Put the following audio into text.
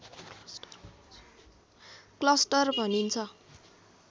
cluster भनिन्छ